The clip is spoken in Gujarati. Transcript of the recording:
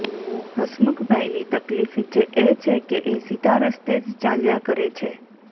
હસમુખભાઈની તકલીફ જ એ છે કે એ સીધા રસ્તે જ ચાલ્યા કરે છે